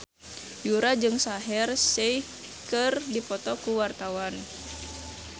Yura jeung Shaheer Sheikh keur dipoto ku wartawan